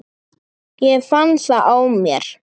Ég fann það á mér.